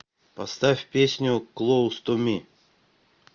поставь песню клоуз ту ми